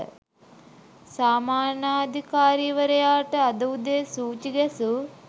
සාමාන්‍යාධිකාරිවරයාට අද උදේ සූචි ගැසූ